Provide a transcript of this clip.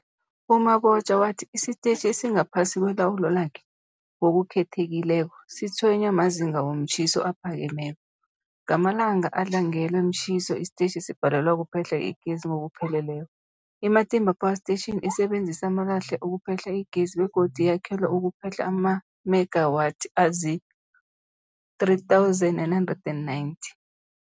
U-Mabotja wathi isitetjhi esingaphasi kwelawulo lakhe, ngokukhethekileko, sitshwenywa mazinga womtjhiso aphakemeko. Ngamalanga adlangelwe mtjhiso, isitetjhi sibhalelwa kuphehla igezi ngokupheleleko. I-Matimba Power Station isebenzisa amalahle ukuphehla igezi begodu yakhelwe ukuphehla amamegawathi azii-3990